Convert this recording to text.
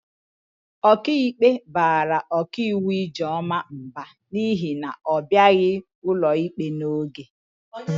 Ọkaikpe bara ọkaiwu Ijeọma mba n'ihi na ọ bịaghị ụlọikpe n'oge.